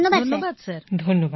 সমবেত কণ্ঠ ধন্যবাদ স্যার